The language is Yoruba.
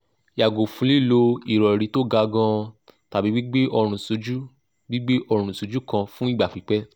yago fun lilo irori to ga gan an tabi gbigbe orun soju gbigbe orun soju kan fun igba pipe